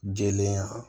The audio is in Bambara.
Jelen ya